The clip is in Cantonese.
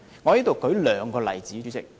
主席，讓我舉兩個例子。